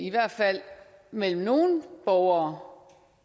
i hvert fald mellem nogle borgere